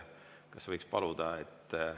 Kas võiks paluda?